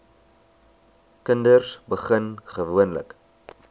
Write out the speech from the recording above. kinders begin gewoonlik